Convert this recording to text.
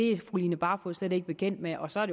er fru line barfod slet ikke bekendt med og så er